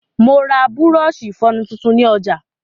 Mo ra bùrọ̀ọ̀ṣi ìfọnu tuntun ni ọ̀jà.